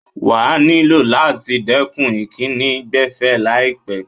Wà nílò láti dẹ̀kun ìkíni gbẹ̀fẹ́ láìlpẹ́.